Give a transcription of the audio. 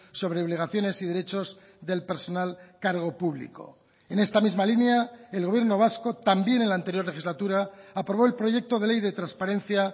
sobre obligaciones y derechos del personal cargo público en esta misma línea el gobierno vasco también en la anterior legislatura aprobó el proyecto de ley de transparencia